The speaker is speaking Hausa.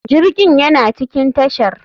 Jirgin yana cikin tashar.